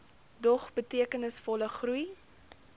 dog betekenisvolle groei